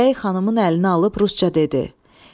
Bəy xanımın əlini alıb ruscə dedi: